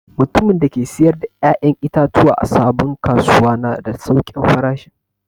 Mutumin da ke siyar da ya'yan itatuwa a sabon kasuwa na da saukin farashin.